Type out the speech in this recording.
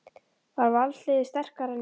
Er Valsliðið sterkara en í fyrra?